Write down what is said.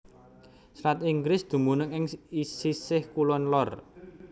Selat Inggris dumunung ing sisih kulon lor